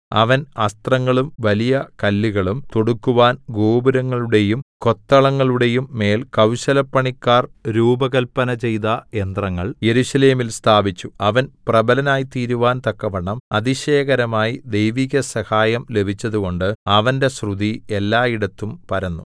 അവൻ അസ്ത്രങ്ങളും വലിയ കല്ലുകളും തൊടുക്കുവാൻ ഗോപുരങ്ങളുടെയും കൊത്തളങ്ങളുടെയും മേൽ കൌശലപ്പണിക്കാർ രൂപകൽപ്പന ചെയ്ത യന്ത്രങ്ങൾ യെരൂശലേമിൽ സ്ഥാപിച്ചു അവൻ പ്രബലനായിത്തീരുവാൻ തക്കവണ്ണം അതിശയകരമായി ദൈവിക സഹായം ലഭിച്ചതുകൊണ്ട് അവന്റെ ശ്രുതി എല്ലായിടത്തും പരന്നു